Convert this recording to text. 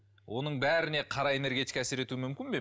оның бәріне қара энергетика әсер етуі мүмкін бе